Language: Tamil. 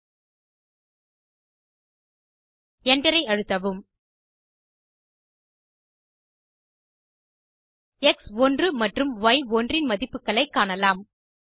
Enter ஐ அழுத்தவும் எக்ஸ்1 மற்றும் ய்1 இன் மதிப்புகளைக் காணலாம்